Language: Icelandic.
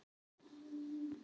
En ég?